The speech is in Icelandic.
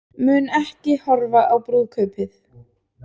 Mun ekki horfa á brúðkaupið